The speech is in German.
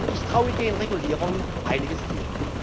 Ich traue den Regulierern einiges